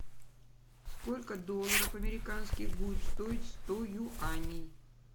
сколько долларов американских будет стоить сто юаней